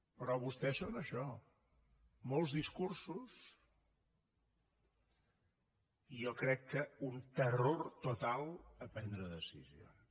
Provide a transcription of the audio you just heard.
però vostès són això molts discursos i jo crec que un terror total a prendre decisions